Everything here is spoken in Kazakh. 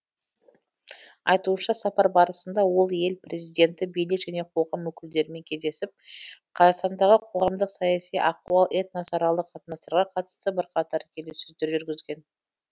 айтуынша сапар барысында ол ел президенті билік және қоғам өкілдерімен кездесіп қазақстандағы қоғамдық саяси ахуал этносаралық қатынастарға қатысты бірқатар келіссөздер жүргізген